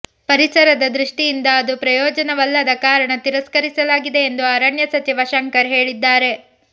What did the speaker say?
ಪರಿಸರದ ದೃಷ್ಟಿಯಿಂದ ಅದು ಪ್ರಯೋಜನವಲ್ಲದ ಕಾರಣ ತಿರಸ್ಕರಿಸಲಾಗಿದೆ ಎಂದು ಅರಣ್ಯ ಸಚಿವ ಶಂಕರ್ ಹೇಳಿದ್ದಾರೆ